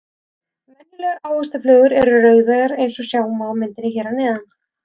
Venjulegar ávaxtaflugur eru rauðeygðar eins og sjá má á myndinni hér að neðan.